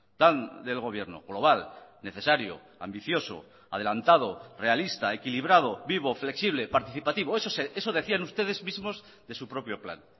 tan del gobierno global necesario ambicioso adelantado realista equilibrado vivo flexible participativo eso decían ustedes mismos de su propio plan